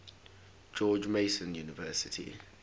george mason university